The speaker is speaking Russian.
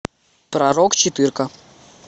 пророк четырка